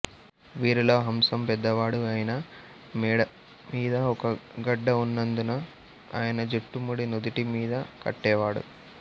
వీరిలో హ్రమ్సాం పెద్దవాడు ఆయన మెడ మీద ఒక గడ్డ ఉన్నందున ఆయన జుట్టు ముడి నుదుటి మీద కట్టేవాడు